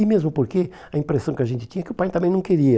E mesmo porque a impressão que a gente tinha é que o pai também não queria.